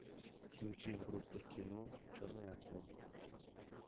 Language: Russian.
включи группу кино черный альбом